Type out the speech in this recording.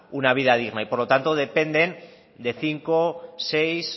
una vida digna y por lo tanto dependen de cinco seis